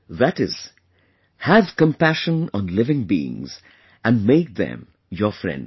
That is, have compassion on living beings and make them your friends